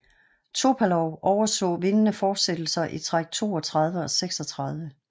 Topalov overså vindende fortsættelser i træk 32 og 36